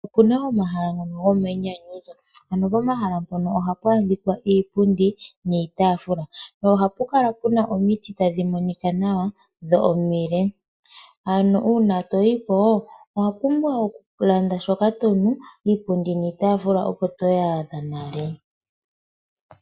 Opuna omahala gomayinyanyudho pomahala mpono ohapu adhika iipundi niitaafula. Uuna toyiko owa pumbwa okulanda shoka tonu iipundi niitafula oko toyi adha nale.